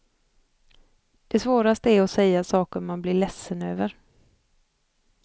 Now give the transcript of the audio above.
Det svåraste är att säga saker man blir ledsen över.